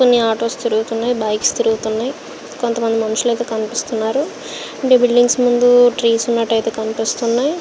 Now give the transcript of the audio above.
అన్ని ఆటోస్ తిరుగుతున్నాయి. బైక్స్ తిరుగుతున్నాయి. కొంత మంది మనుషులు కనిపిస్తున్నారు. బిల్డింగ్స్ ముందు ట్రీస్ కనిపెస్తునాయి.